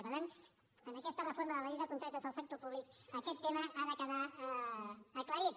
i per tant amb aquesta reforma de la llei de contractes del sector públic aquest tema ha de quedar aclarit